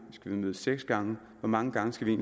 skal vi mødes seks gange hvor mange gange skal vi